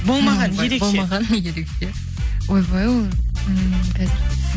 болмаған ерекше болмаған ерекше ойбай ол ммм қазір